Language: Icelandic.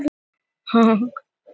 Hvað geta mörgæsir orðið stórar?